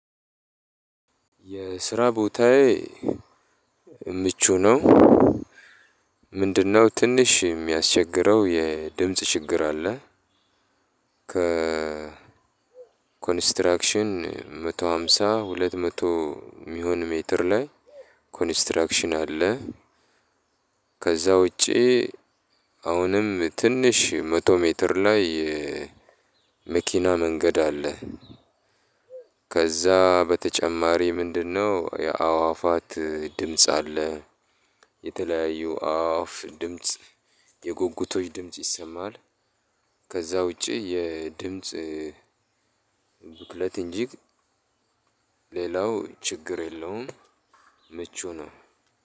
የስራ ቦታዬ ምቹ ነው። ምንድነው ትንሽ እሚያስቸግረው የድምጽ ችግር አለ። ከኮንስትራክሽን መቶ ሃምሳ ሁለት መቶ የሚሆን ሜትር ላይ ኮንስትራክሽን አለ። ከዛ ውጪ። አሁንም ትንሽ መቶ ሜትር ላይ መኪና መንገድ አለ። ከዛ በተጨማሪ ምንድነው? የአዋፋት ድምጽ አለ። የተለያዩ አዋፍ ድምጽ የጉጉቶች ድምጽ ይሰማል። ከዛ ውጪ የድምጽ ብክለት እንጂ ሌላው ችግር የለውም። ምቹ ነው።